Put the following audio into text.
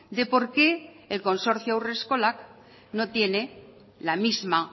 de por qué el consorcio haurreskolak no tiene la misma